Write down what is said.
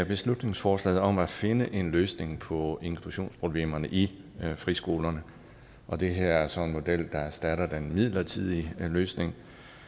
beslutningsforslaget om at finde en løsning på inklusionsproblemerne i friskolerne og det her er så en model der erstatter den midlertidige løsning